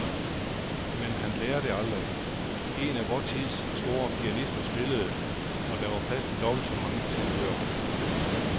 Men han lærer det aldrig. En af vor tids store pianister spillede, og der var plads til dobbelt så mange tilhørere.